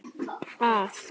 Hún verður að hreyfa sig.